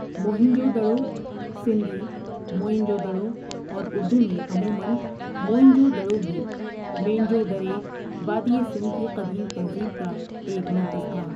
موہن جو Daro Sindhi Moenjodaro اور اردو میں عموماً موئن جو دڑو بھی، مینجو ڈرے وادی سندھ کی قدیم تہذیب کا ایک مرکز تھا ۔